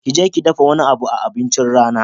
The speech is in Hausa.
Kije ki dafa wani abu a abincin rana